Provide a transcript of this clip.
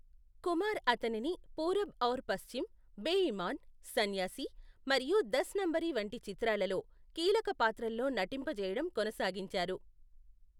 కుమార్ అతనిని పూరబ్ ఔర్ పస్చిమ్, బె ఇమాన్, సన్యాసి, మరియు దస్ నంబరీ వంటి చిత్రాలలో కీలక పాత్రల్లో నటింపజేయడం కొనసాగించారు.